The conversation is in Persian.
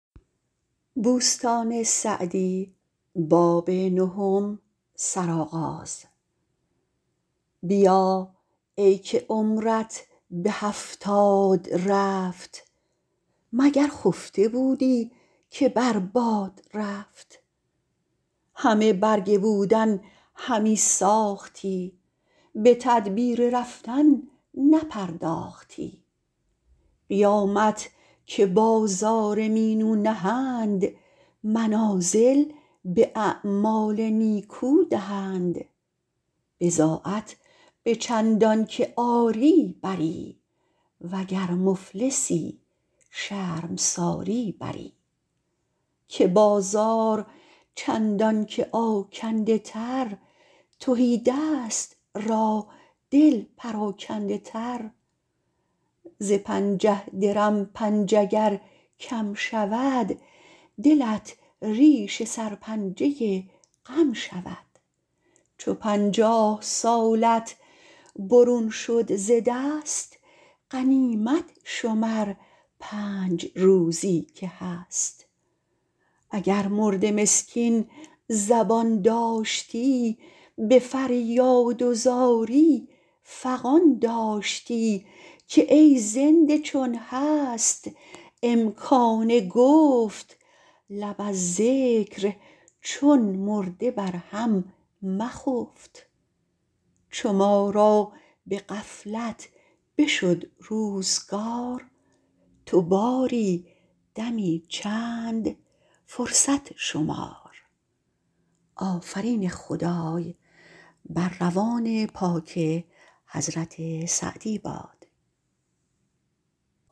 بیا ای که عمرت به هفتاد رفت مگر خفته بودی که بر باد رفت همه برگ بودن همی ساختی به تدبیر رفتن نپرداختی قیامت که بازار مینو نهند منازل به اعمال نیکو دهند بضاعت به چندان که آری بری وگر مفلسی شرمساری بری که بازار چندان که آکنده تر تهیدست را دل پراکنده تر ز پنجه درم پنج اگر کم شود دلت ریش سرپنجه غم شود چو پنجاه سالت برون شد ز دست غنیمت شمر پنج روزی که هست اگر مرده مسکین زبان داشتی به فریاد و زاری فغان داشتی که ای زنده چون هست امکان گفت لب از ذکر چون مرده بر هم مخفت چو ما را به غفلت بشد روزگار تو باری دمی چند فرصت شمار